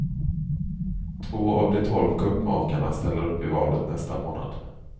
Två av de tolv kuppmakarna ställer upp i valet nästa månad.